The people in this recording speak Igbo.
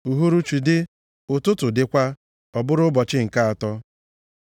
Uhuruchi dị, ụtụtụ dịkwa. Ọ bụrụ ụbọchị nke atọ.